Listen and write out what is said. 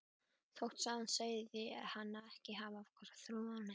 Þótt sagan segði hana ekki hafa trúað á neitt.